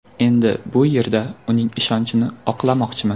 Endi bu yerda uning ishonchini oqlamoqchiman.